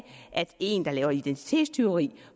at en der laver identitetstyveri